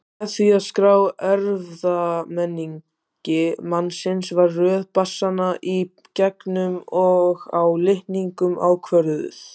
Með því að skrá erfðamengi mannsins var röð basanna í genum og á litningum ákvörðuð.